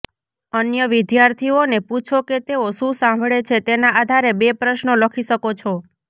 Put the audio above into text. અન્ય વિદ્યાર્થીઓને પૂછો કે તેઓ શું સાંભળે છે તેના આધારે બે પ્રશ્નો લખી શકો છો